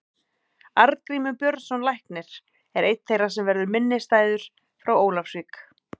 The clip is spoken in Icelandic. Arngrímur Björnsson læknir er einn þeirra sem verður minnisstæður frá Ólafsvík.